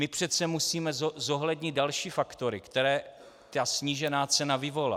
My přece musíme zohlednit další faktory, které ta snížená cena vyvolá.